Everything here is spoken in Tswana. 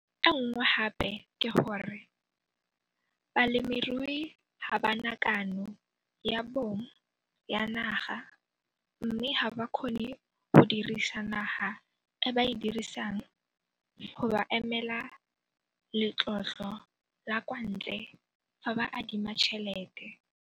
Kgwetlho e nngwe gape ke gore balemirui ga ba na kano ya bong ya naga mme ga ba kgone go dirisa naga e ba e dirisang go ba emela letlotlo la kwa ntle fa ba adima tšhelete.